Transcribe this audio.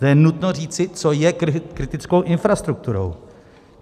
To je nutno říci, co je kritickou infrastrukturou.